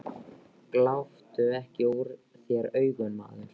Gláptu ekki úr þér augun, maður.